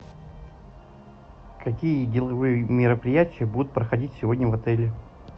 какие деловые мероприятия будут проходить сегодня в отеле